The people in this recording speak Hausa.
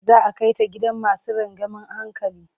Za a kai ta gidan masu rangeamen hankali.